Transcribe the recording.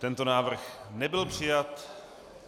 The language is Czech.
Tento návrh nebyl přijat.